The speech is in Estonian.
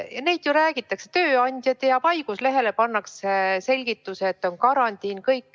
Ja sellest ju räägitakse, tööandja teab, haiguslehele pannakse selgitused, et on karantiin.